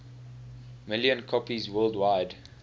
million copies worldwide